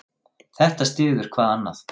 Þetta styður hvað annað.